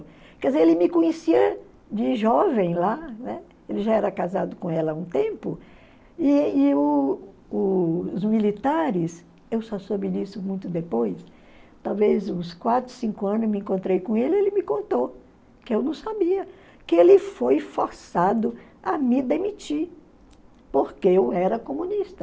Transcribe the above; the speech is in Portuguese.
Quer dizer, ele me conhecia de jovem lá, né, ele já era casado com ela há um tempo, e e o o os militares, eu só soube disso muito depois, talvez uns quatro, cinco anos eu me encontrei com ele, ele me contou, que eu não sabia, que ele foi forçado a me demitir, porque eu era comunista.